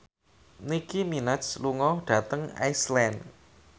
Nicky Minaj lunga dhateng Iceland